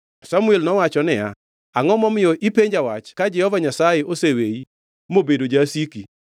Samuel nowacho niya, “Angʼo momiyo ipenja wach ka Jehova Nyasaye oseweyi mobedo jasiki?